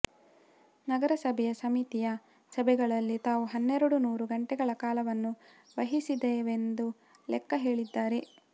ನಗರ ಸಭೆಯ ಸಮಿತಿಯ ಸಭೆಗಳಲ್ಲಿ ತಾವು ಹನ್ನೆರಡು ನೂರು ಗಂಟೆಗಳ ಕಾಲವನ್ನು ವ್ಯಯಿಸಿದರೆಂದು ಲೆಕ್ಕ ಹೇಳಿದ್ದಾರೆ